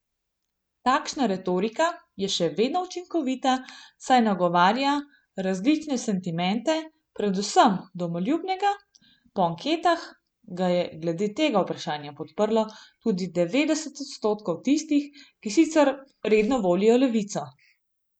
Takšna retorika je še vedno učinkovita, saj nagovarja različne sentimente, predvsem domoljubnega, po anketah ga je glede tega vprašanja podprlo tudi devetdeset odstotkov tistih, ki sicer redno volijo levico.